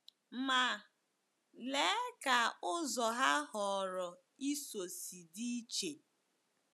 Ma, lee ka ụzọ ha họọrọ ịso si dị iche!